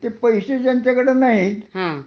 ते पैसे ज्यांच्याकडे नाहीत